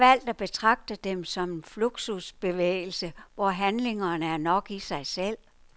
Jeg har valgt at betragte dem som en fluxusbevægelse, hvor handlingerne er nok i sig selv.